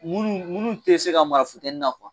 Munnu munu te se ka mara funteni na